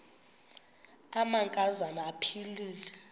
amanka zana aphilele